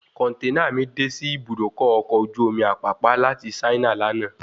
Kọ̀nténà mi de sí Ibùdókọ̀ ọkọ̀ ojú omi Apapa láti Saina lànà